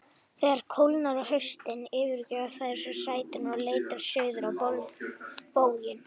Þegar kólnar á haustin yfirgefa þær svo svæðin og leita suður á bóginn.